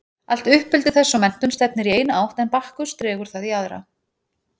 Allt uppeldi þess og menntun stefnir í eina átt en Bakkus dregur það í aðra.